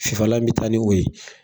Fifalan bɛ taa ni o ye.